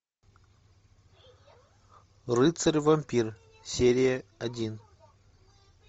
рыцарь вампир серия один